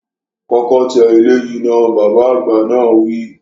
Kọ́kọ́ tẹ eléyìí náà, Bàbá àgbà náà wi